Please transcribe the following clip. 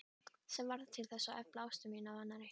Sem varð til að efla ást mína á annarri.